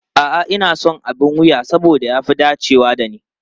A'a, ina son abin wuya saboda ya fi dacewa da ni.